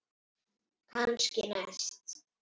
Kannski næst?